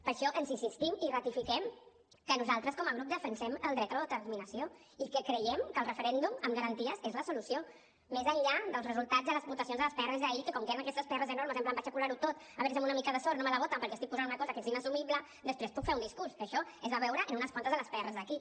per això insistim i ratifiquem que nosaltres com a grup defensem el dret a l’autodeterminació i que creiem que el referèndum amb garanties és la solució més enllà dels resultats de les votacions a les pr d’ahir que com que eren aquestes pr enormes en plan vaig a colar ho tot a veure si amb una mica de sort no me la voten perquè estic posant una cosa que és inassumible després puc fer un discurs que això es va veure en unes quantes de les pr d’aquí